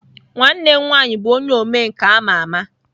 Nwanne m nwanyi bu onye omenka ama ama.